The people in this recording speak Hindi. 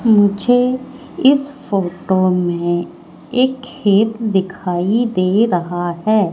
मुझे इस फोटो में एक खेत दिखाई दे रहा है।